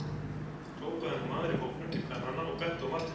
hrópaði nú maður í hópnum til kvennanna og benti á Martein.